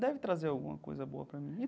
Deve trazer alguma coisa boa para mim.